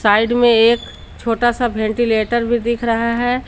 Side में एक छोटा सा वेंटीलेटर भी दिख रहा है।